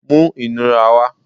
mú inurá wá!